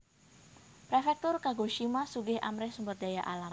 Prefektur Kagoshima sugih amrih sumber daya alam